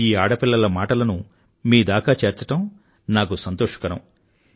ఈ ఆడపిల్లల మాటలను మీదాకా చేర్చడం నాకు సంతోషకరం